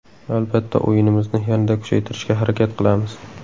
Albatta o‘yinimizni yanada kuchaytirishga harakat qilamiz.